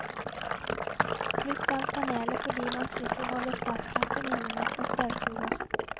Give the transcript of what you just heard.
Pluss av panelet fordi man slipper å holde startknappen inne mens man støvsuger.